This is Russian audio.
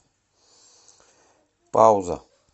пауза